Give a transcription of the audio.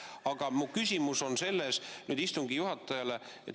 Aga mu küsimus istungi juhatajale on selline.